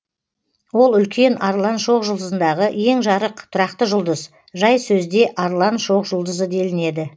ол үлкен арлан шоқжұлдызындағы ең жарық тұрақты жұлдыз жай сөзде арлан шоқ жұлдызы делінеді